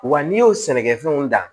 Wa n'i y'o sɛnɛ kɛ fɛnw da